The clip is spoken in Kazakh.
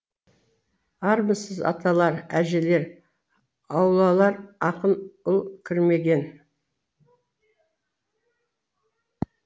армысыз аталар әжелер аулалар ақын ұл кірмеген